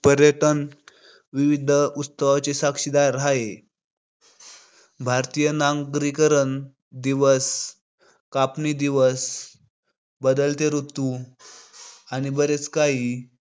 पर्यटन विविध उत्सवाची साक्षीदार हाय. भारतीय नांगरीकरण दिवस, कापणी दिवस, बदलते ऋतु आणि बरेच काही